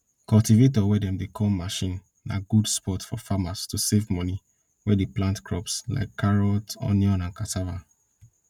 cultivator wey dem dey call machine na good spot for farmers to save money wey dey plant crops like carrot onion and cassava